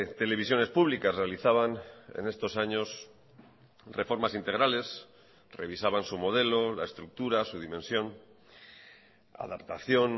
televisiones públicas realizaban en estos años reformas integrales revisaban su modelo la estructura su dimensión adaptación